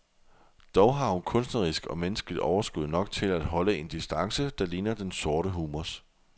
Dog har hun kunstnerisk og menneskeligt overskud nok til at holde en distance, der ligner den sorte humors.